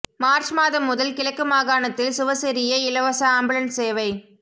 March மாதம் முதல் கிழக்கு மாகாணத்தில் சுவசெரிய இலவச அம்புலன்ஸ் சேவை